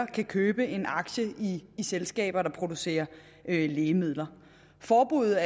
kan købe en aktie i selskaber der producerer lægemidler forbuddet